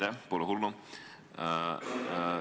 Aitäh, pole hullu!